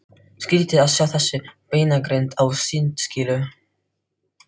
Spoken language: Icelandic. Skrýtið að sjá þessa beinagrind á sundskýlu!